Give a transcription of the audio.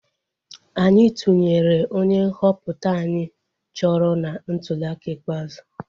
Anyị tụnyere onye nhọpụta anyị chọrọ na ntuliaka ikpeazụ